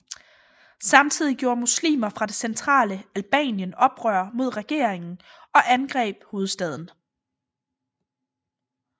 Samtidig gjorde muslimer fra det centrale Albanien oprør mod regeringen og angreb hovedstaden